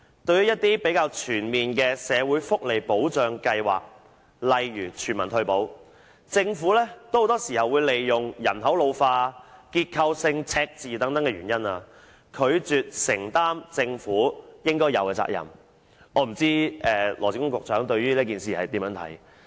對於一些比較全面的社會福利保障計劃，例如全民退保，政府很多時候都會以人口老化、結構性赤字等原因，拒絕承擔政府應有的責任，我不知道羅致光局長對此有何看法？